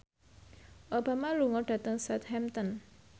Obama lunga dhateng Southampton